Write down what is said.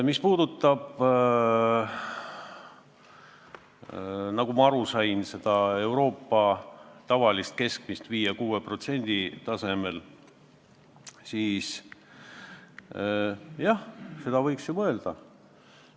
Mis puudutab Euroopas tavalist keskmist määra 5–6%, siis jah, seda võiks mõelda.